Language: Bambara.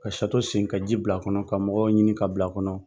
Ka sen ka ji bila kɔnɔ ka mɔgɔw ɲini ka bila kɔnɔ.